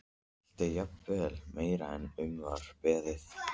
Allt er jafnvel meira en um var beðið.